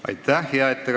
Aitäh, hea ettekandja!